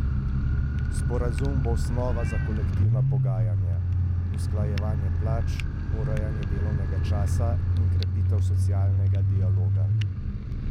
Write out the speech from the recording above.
Sporazum bo osnova za kolektivna pogajanja, usklajevanje plač, urejanje delovnega časa in krepitev socialnega dialoga.